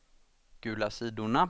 gula sidorna